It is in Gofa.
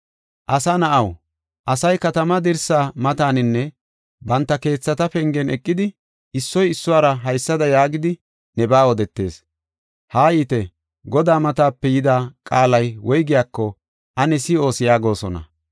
“Asa na7aw, asay katamaa dirsa mataninne banta keethata pengen eqidi, issoy issuwara haysada yaagidi, nebaa odetees. ‘Haayite; Godaa matape yida qaalay woygiyako ane si7oos’ yaagosona.